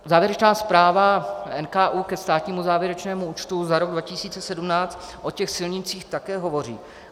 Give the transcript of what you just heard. Závěrečná zpráva NKÚ ke státnímu závěrečnému účtu za rok 2017 o těch silnicích také hovoří.